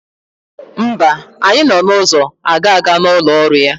Mba, anyị nọ n'ụzọ agaga n'ụlọ ọrụ ya.